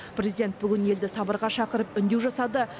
президент бүгін елді сабырға шақырып үндеу жасады